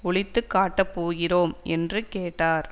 ஒழித்து காட்டப்போகிறோம் என்று கேட்டார்